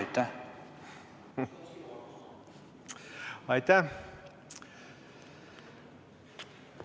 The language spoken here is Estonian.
Aitäh!